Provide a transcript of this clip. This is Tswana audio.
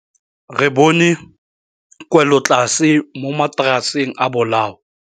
Re bone wêlôtlasê mo mataraseng a bolaô.